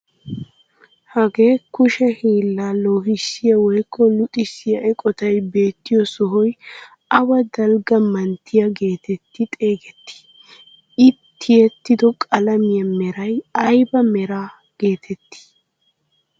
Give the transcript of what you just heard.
Hagee kushshe hiillaa loohissiyaa woykko luxxisiyaa eqotay beettiyoo sohoy awa dalgga manttiyaa getetti xeegettii? I tiyettido qalamiyaa meray ayba meraa getettii?